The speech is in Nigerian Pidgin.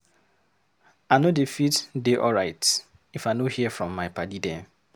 I no dey fit dey alright if I no hear from my paddy dem